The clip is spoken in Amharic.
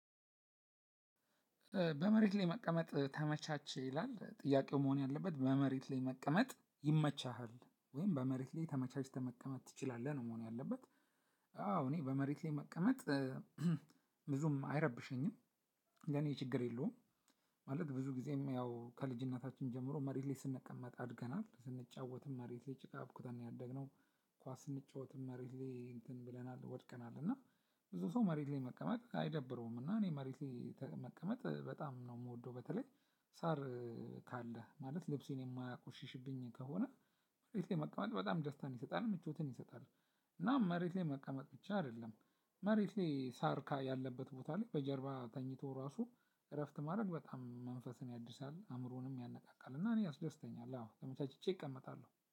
በመሬት ላይ መቀመጥ ተመቻች ይላል ጥያቄው መሆን ያለበት በመሬት ላይ መቀመጥ ይመቻሃል ወይም በመሬት ላይ ተመቻችተህ መቀመጥ ትችላለህ ነው መሆን ያለበት? አዎ እኔ በመሬት ላይ መቀመጥ። ብዙም አይረብሸኝም። ለኔ ችግር የለውም። ማለት ብዙ ጊዜም ያው ከልጅነታችን ጀምሮ መሬት ላይ ስንቀመጥ አድገናል ስንጫወትም መሬት ላይ ጭቃብኩትን ነው ያደግነው። ኳስ ስንጫወትም መሬት ላይ እንትን ብለናል ወድቀናል እና። ብዙ ሰው መሬት ላይ መቀመጥ አይደብረውም እና እኔ መሬት ላይ መቀመጥ በጣም ነው እምወደው። በተለይ ሳር ካለ ማለት ልብሴን የማያቆሽሽብኝ ከሆነ። መሬት ላይ መቀመጥ በጣም ደስታን ይሰጣል ምቾትን ይሰጣል። እና መሬት ላይ መቀመጥ ብቻ አይደለም። መሬት ሳርካ ያለበት ቦታ ላይ በጀርባ ተኝቶ ራሱ እረፍት ማድረግ በጣም መንፈስን ያድሳል አእምሮንም ያነቃቃል። እና እኔ ያስደስተኛል አዎ ተመቻችቼ እቀመጣለሁ